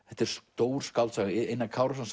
þetta er stór skáldsaga Einar Kárason